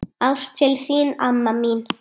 Ást til þín, amma mín.